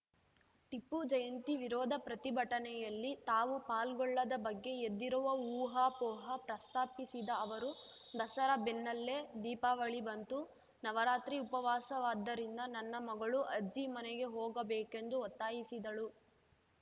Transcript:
ಟಿಪ್ಪು ಜಯಂತಿ ವಿರೋಧ ಪ್ರತಿಭಟನೆಯಲ್ಲಿ ತಾವು ಪಾಲ್ಗೊಳ್ಳದ ಬಗ್ಗೆ ಎದ್ದಿರುವ ಊಹಾಪೋಹ ಪ್ರಸ್ತಾಪಿಸಿದ ಅವರು ದಸರಾ ಬೆನ್ನಲ್ಲೇ ದೀಪಾವಳಿ ಬಂತು ನವರಾತ್ರಿ ಉಪವಾಸವಾದ್ದರಿಂದ ನನ್ನ ಮಗಳು ಅಜ್ಜಿ ಮನೆಗೆ ಹೋಗಬೇಕೆಂದು ಒತ್ತಾಯಿಸಿದಳು